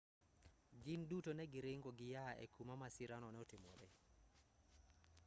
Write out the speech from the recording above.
gin duto ne giringo giyaa e kuma masirano notimoree